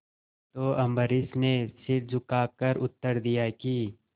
तो अम्बरीश ने सिर झुकाकर उत्तर दिया कि